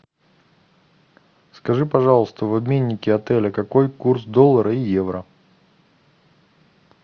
скажи пожалуйста в обменнике отеля какой курс доллара и евро